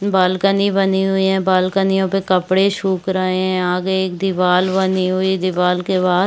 balcony बनी हुई है बॉलकनी यहाँ पर कपड़े सुख रहै है यहाँ आगे एक दीवाल बनी हुई है दीवाल के बाहर--